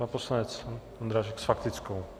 Pan poslanec Ondráček s faktickou.